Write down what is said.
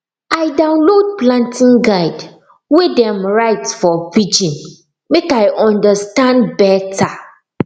i download planting guide wey dem write for pidgin make i understand better